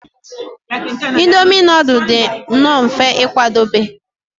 Indomi nudul dị nnọọ mfe ịkwadebe